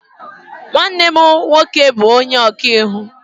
Nwanne m nwoke bu onye okaiwu.